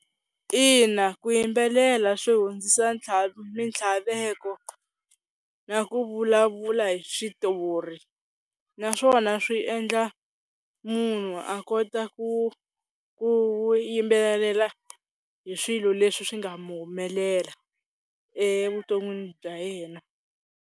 Ina ku yimbelela swi hundzisa mintlhaveko na ku vulavula hi switori, naswona swi endla munhu a kota ku ku yimbelela hi swilo leswi swi nga mu humelela evuton'wini bya yena.